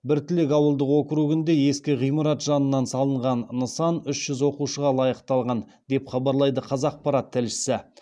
біртілек ауылдық округінде ескі ғимарат жанынан салынған нысан үш жүз оқушыға лайықталған деп хабарлайды қазақпарат тілшісі